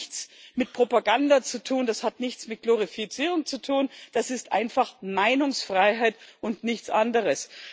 das hat nichts mit Propaganda zu tun, das hat nichts mit Glorifizierung zu tun, das ist einfach Meinungsfreiheit und nichts anderes.